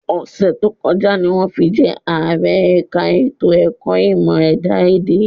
Ọ̀sẹ̀ tó kọjá ni wọ́n fi jẹ́ Ààrẹ ẹ̀ka ètò ẹ̀kọ́ ìmọ̀ ẹ̀dá-èdè